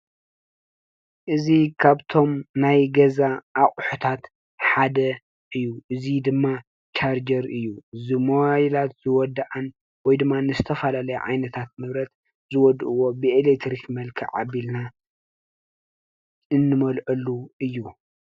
እዚ ካብቶም ናይ ገዛ አቑሑታት ሓደ እዩ፡፡ እዚ ድማ ቻርጀር እዩ፡፡ ዚሞባይላት ዝወድአን ወይ ድማ ንዝተፈላለዩ ዓይነታት ንብረት ዝወድእዎ ብኤሌክትሪክ መልክዕ አቢልና እንመልአሉ እዩ፡፡